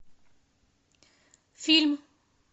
фильм